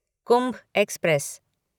Kumbh express